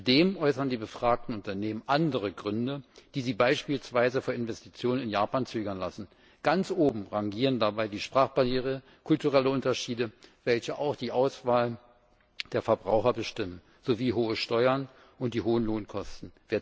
Zudem äußern die befragten Unternehmen andere Gründe, die sie beispielsweise vor Investitionen in Japan zurückschrecken lassen. Ganz oben rangieren dabei die Sprachbarriere, kulturelle Unterschiede, welche auch die Auswahl der Verbraucher bestimmen, sowie hohe Steuern und hohe Lohnkosten.